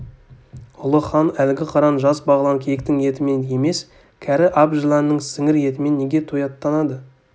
ұлы хан әлгі қыран жас бағлан киіктің етімен емес кәрі әп жыланның сіңір етімен неге тояттанады